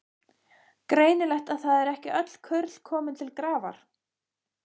Greinilegt að það eru ekki öll kurl komin til grafar!